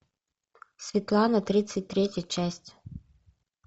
светлана тридцать третья часть